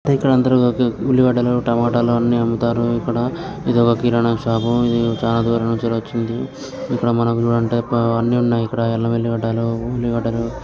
ఇక్కడ అందరు ఉల్లిగడ్డల టమోటాలు అన్ని అమ్ముతారిక్కడ ఇది ఒక కిరానా షాప్ ఇది చాలా దూరం నుంచి వచ్చింది. ఇక్కడ మనకి చుడండి అల్లం వెళ్లి గడ్డలు ఉల్లిగడ్డలు--